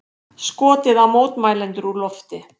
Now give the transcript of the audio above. Skotið á mótmælendur úr lofti